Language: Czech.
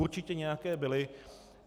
Určitě nějaké byly.